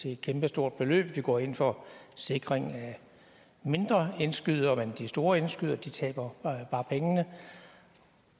et kæmpestort beløb i banken man går ind for sikring af mindre indskydere men de store indskydere taber bare pengene